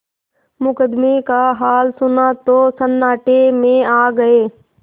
मुकदमे का हाल सुना तो सन्नाटे में आ गये